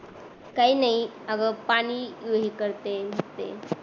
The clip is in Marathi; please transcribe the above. काही नाही आग पाणी हे करतेय